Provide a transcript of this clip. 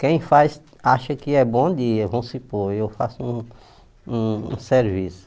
Quem faz, acha que é bom dia, vamos supor, eu faço um um um serviço.